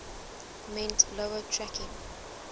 meant lower tracking